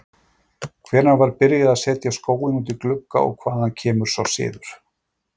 Hvenær var byrjað að setja skóinn út í glugga og hvaðan kemur sá siður?